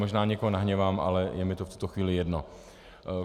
Možná někoho nahněvám, ale je mi to v tuto chvíli jedno.